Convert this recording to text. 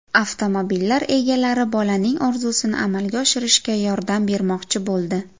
Avtomobillar egalari bolaning orzusini amalga oshirishga yordam bermoqchi bo‘ldi.